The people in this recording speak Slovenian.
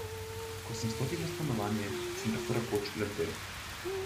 Ko sem vstopil v stanovanje, sem tako rekoč lebdel.